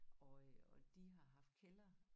Og øh og de har haft kælder